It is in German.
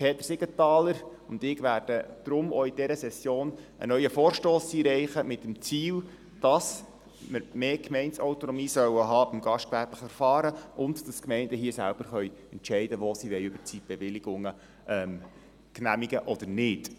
Peter Siegenthaler und ich werden deshalb auch in dieser Session einen neuen Vorstoss einreichen, mit dem Ziel, dass man im gastgewerblichen Verfahren mehr Gemeindeautonomie haben soll und damit die Gemeinden hier selber entscheiden können, wo sie Überzeitbewilligungen genehmigen oder nicht.